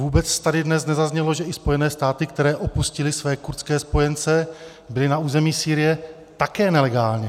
Vůbec tady dnes nezaznělo, že i Spojené státy, které opustily své kurdské spojence, byly na území Sýrie také nelegálně.